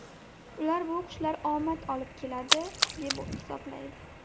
Ular bu qushlar omad olib keladi, deb hisoblaydi.